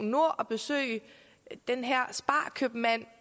og besøge den her sparkøbmand